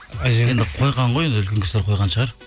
қойған ғой енді үлкен кісілер қойған шығар